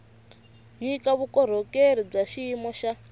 nyika vukorhokeri bya xiyimo xa